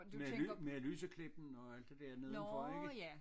Med med Lyseklippen og alt det der nedenfor ikke